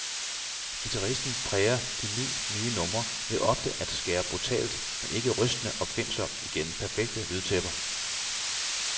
Guitaristen præger de ni, nye numre ved ofte at skære brutalt, men ikke rystende opfindsomt igennem perfekte lydtæpper.